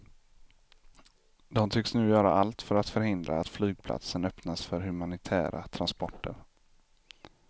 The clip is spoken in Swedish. De tycks nu göra allt för att förhindra att flygplatsen öppnas för humanitära transporter.